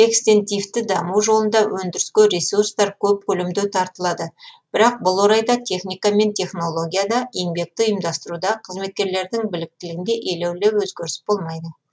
экстентивті даму жолында өндіріске ресурстар көп көлемде тартылады бірақ бұл орайда техника мен технологияда еңбекті ұйымдастыруда қызметкерлердің біліктілігінде елеулі өзгеріс болмайды